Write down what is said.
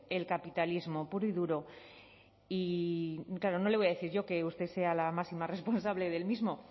el capitalismo puro y duro y claro no le voy a decir yo que usted sea la máxima responsable del mismo